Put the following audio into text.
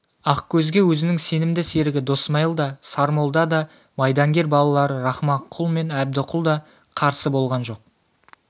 ақкөзге өзінің сенімді серігі досмайыл да сармолда да майдангер балалары рахманқұл мен әбдіқұл да қарсы болған жоқ